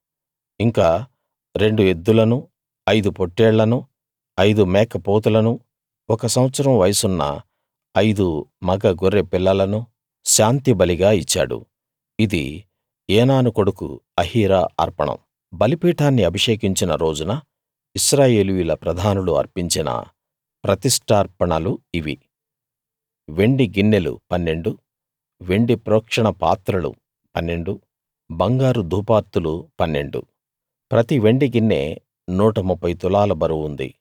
ఇంకా రెండు ఎద్దులను ఐదు పొట్టేళ్లనూ ఐదు మేకపోతులను ఒక సంవత్సరం వయసున్న ఐదు మగ గొర్రె పిల్లలను శాంతిబలిగా ఇచ్చాడు ఇది ఏనాను కొడుకు అహీరా అర్పణం బలిపీఠాన్ని అభిషేకించిన రోజున ఇశ్రాయేలీయుల ప్రధానులు అర్పించిన ప్రతిష్ఠార్పణలు ఇవి వెండి గిన్నెలు పన్నెండు వెండి ప్రోక్షణపాత్రలు పన్నెండు బంగారు ధూపార్తులు పన్నెండు ప్రతి వెండి గిన్నె నూట ముప్ఫై తులాల బరువు ఉంది